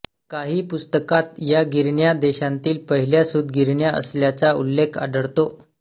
काही पुस्तकांत या गिरण्या देशांतील पहिल्या सूत गिरण्या असल्याचा उल्लेख आढळतो